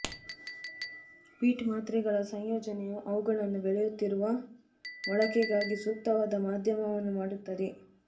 feet ಮಾತ್ರೆಗಳ ಸಂಯೋಜನೆಯು ಅವುಗಳನ್ನು ಬೆಳೆಯುತ್ತಿರುವ ಮೊಳಕೆಗಾಗಿ ಸೂಕ್ತವಾದ ಮಾಧ್ಯಮವನ್ನು ಮಾಡುತ್ತದೆ